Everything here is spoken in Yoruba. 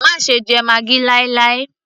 má ṣe jẹ maggi láì láì